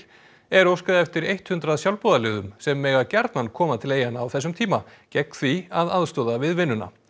er óskað eftir eitt hundrað sjálfboðaliðum sem mega gjarnan koma til eyjanna á þessum tíma gegn því að aðstoða við vinnuna